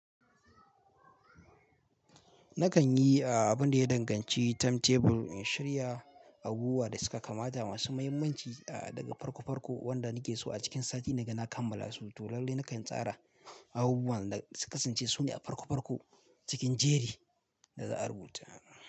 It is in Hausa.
Nakan yi a abun da ya danganci timetable in shirya abubuwan da suka kamata masu muhimmanci a daga farko farko wanda nake so a cikin sati na gani a kammala su. To lalle nakan tsara abubuwan da suka kasance su ne a farko farko cikin jerin da za'a rubuta.